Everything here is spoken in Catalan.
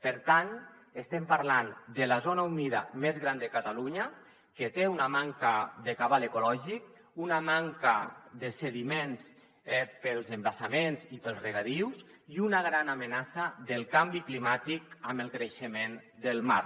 per tant estem parlant de la zona humida més gran de catalunya que té una manca de cabal ecològic una manca de sediments pels embassaments i pels regadius i una gran amenaça pel canvi climàtic amb el creixement del mar